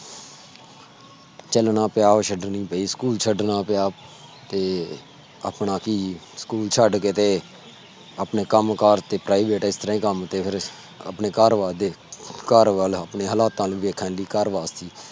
ਚਲਣਾ ਪਿਆ ਉਹ ਛੱਡਣੀ ਪਈ। ਸਕੂਲ ਛੱਡਣਾ ਪਿਆ ਤੇ ਆਪਣਾ ਹੀ ਸਕੂਲ ਛੱਡ ਕੇ ਤੇ ਆਪਣਾ ਕਾਮ ਕਰ ਕੀਤਾ ਜੀ ਇਸ ਤਰਾਂ ਕਾਮ ਤੇ ਫੇਰ ਆਪਣੇ ਘਰ ਬਾਰ ਦੇ